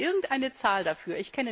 Haben Sie irgendeine Zahl dafür?